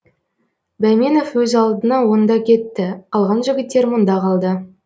бәйменов өз алдына онда кетті қалған жігіттер мұнда қалды